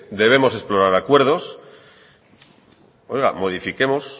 debemos explorar acuerdos oiga modifiquemos